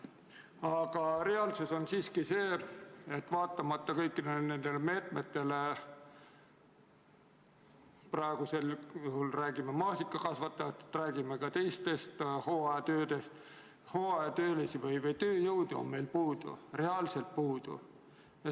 Aga reaalsus on siiski see, et vaatamata kõikidele nendele meetmetele – praegu me räägime maasikakasvatusest, räägime ka teistest hooajatöödest –, on hooajatöölisi või tööjõudu meil puudu, reaalselt puudu.